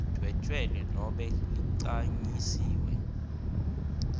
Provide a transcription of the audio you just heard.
lidvwetjelwe nobe ligcanyisiwe